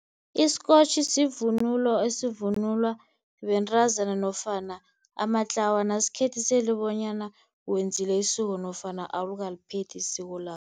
Isikotjhi sivunulo esivunulwa bentazana nofana amatlawana asikhethisela bonyana wenzile isiko nofana awukaliphethi isiko lakho.